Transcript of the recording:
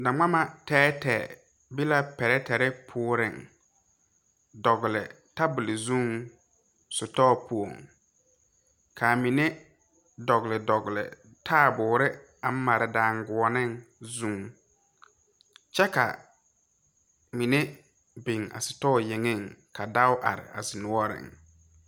Na ngma tɛɛtɛɛ be la pirɛtire poɔreŋ biŋ dɔgle tabole zuŋ sitɔɔ poɔŋ kaa mine dɔgle dɔgle taaboore aŋ mare danguoɔneŋ zuŋ kyɛ ka mine biŋ a sitɔɔ yeŋeŋ ka dao are a zi noɔreŋ.